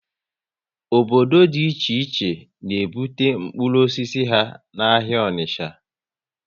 Obodo dị iche iche na ebute mkpụrụ osisi ha n' ahịa Onicha